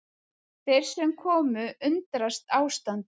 Þeir sem komu undrast ástandið